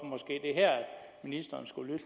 ministeren skulle